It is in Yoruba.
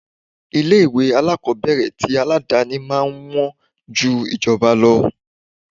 Ilé ìwé alákòbẹ̀rẹ̀ ti aládàni máa ń wọn ju ti ìjọba lọ.